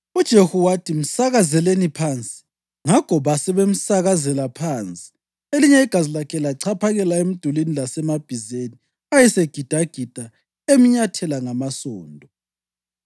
UJehu wathi, “Msakazeleni phansi!” Ngakho basebemsakazela phansi, elinye igazi lakhe lachaphakela emdulini lasemabhizeni ayesegidagida emnyathela ngamasondo.